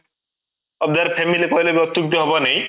other family କହିଲେ ବି ଅତୁକ୍ତି ହବ ନାହିଁ